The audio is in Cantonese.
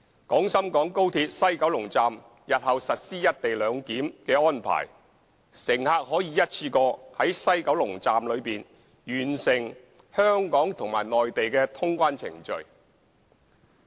廣深港高鐵西九龍站日後實施"一地兩檢"安排，乘客可以一次過在西九龍站內完成香港和內地通關程序。